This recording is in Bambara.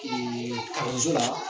Eee kalanso la